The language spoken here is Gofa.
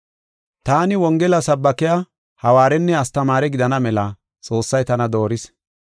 Taani Wongela sabaake, hawaarenne astamaare gidana mela Xoossay tana dooris.